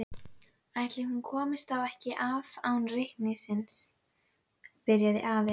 Ætli hún komist þá ekki af án reikningsins. byrjaði afi.